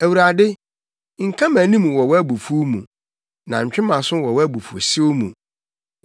Awurade, nka mʼanim wɔ wʼabufuw mu na ntwe mʼaso wɔ wʼabufuwhyew mu.